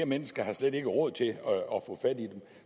mennesker har slet ikke råd